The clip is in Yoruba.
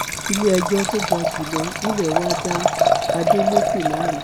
iléẹjọ tó ga jù lọ nílé wa dá adeleke láre